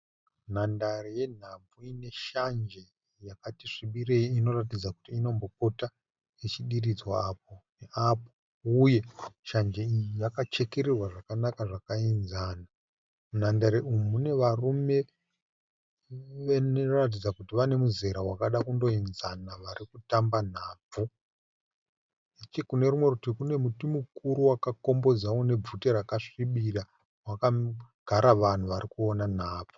Nhandare yenhabvu ineshanje yakatisvibirei inoratidza kuti inombopota ichidiridzwa apo neapo uye shanje iyi yakachekererwa zvakanaka zvakaenzana. Munhandare umu munevarume vanoratidza kuti vanemuzera wakada kundoenzana varikutamba nhabvu. Nechekunerimwe rutivi kunemuti mukuru wakakombodza unebvute rakasvibira wakagara vanhu varikuona nhabvu.